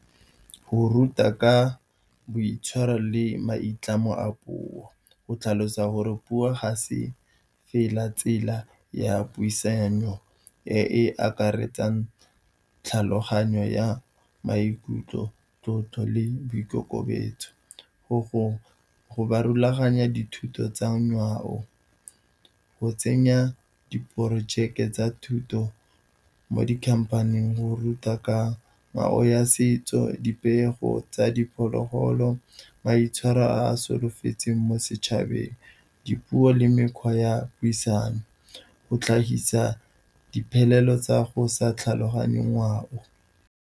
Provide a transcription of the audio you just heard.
Go ruta ka boitshwaro le maitlamo a puo, go tlhalosa gore puo ga se fela tsela ya puisano, e e akaretsang tlhaloganyo ya maikutlo, tlotlo le boikokobetso. Go rulaganya dithuto tsa ngwao, go tsenya diporojeke tsa thuto mo dikhamphaneng. Go ruta ka ngwao ya setso, dipego tsa diphologolo, maitshwaro a solofetseng mo setšhabeng, dipuo le mekgwa ya puisano. Go tlhagisa diphelelo tsa go sa tlhaloganye ngwao.